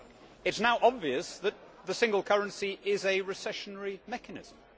It is now obvious that the single currency is a recessionary mechanism.